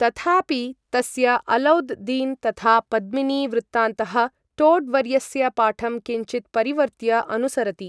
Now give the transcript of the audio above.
तथापि, तस्य अलौद् दीन् तथा पद्मिनी वृत्तान्तः टोड् वर्यस्य पाठं किञ्चित् परिवर्त्य अनुसरति।